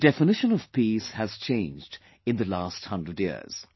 The definition of peace has changed in the last hundred years